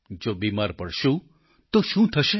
જો બિમાર પડશું તો શું થશે